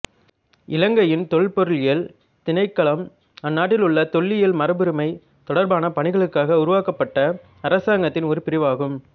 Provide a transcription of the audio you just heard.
இலங்கையின் தொல்பொருளியல் திணைக்களம் அந்நாட்டில் உள்ள தொல்லியல் மரபுரிமை தொடர்பான பணிகளுக்காக உருவாக்கப்பட்ட அரசாங்கத்தின் ஒரு பிரிவு ஆகும்